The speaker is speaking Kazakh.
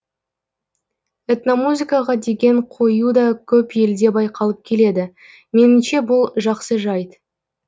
этномузыкаға деген қою да көп елде байқалып келеді меніңше бұл жақсы жайт